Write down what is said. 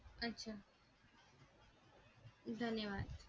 अच्छा धन्यवाद.